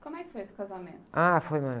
Como é que foi esse casamento?h, foi...